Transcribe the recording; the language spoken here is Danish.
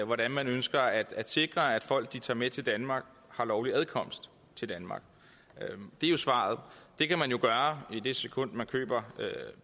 hvordan man ønsker at at sikre at folk som de tager med til danmark har lovlig adkomst til danmark det er jo svaret det kan man jo gøre i det sekund